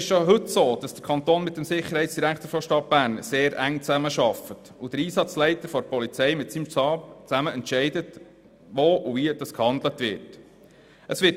Schon heute arbeitet der Kanton mit dem Sicherheitsdirektor der Stadt Bern sehr eng zusammen, und der Einsatzleiter der Polizei entscheidet zusammen mit seinem Stab, wo und wie gehandelt wird.